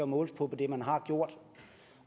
måles på det man har gjort